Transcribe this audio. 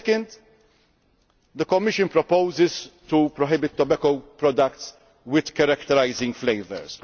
Secondly, the Commission proposes to prohibit tobacco products with characterising flavours.